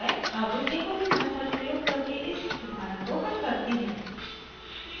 अब jacobi method प्रयोग करके इस उदाहरण को हल करते हैं